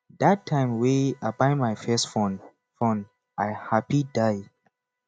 dat time wey i buy my first phone phone i happy die